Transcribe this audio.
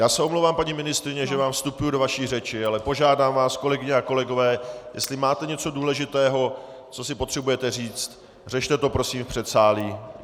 Já se omlouvám, paní ministryně, že vám vstupuji do vaší řeči, ale požádám vás, kolegyně a kolegové, jestli máte něco důležitého, co si potřebujete říci, řešte to prosím v předsálí.